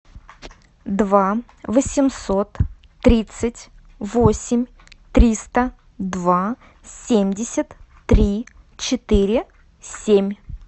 два восемьсот тридцать восемь триста два семьдесят три четыре семь